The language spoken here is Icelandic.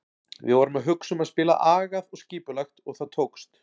Við vorum að hugsa um að spila agað og skipulagt og það tókst.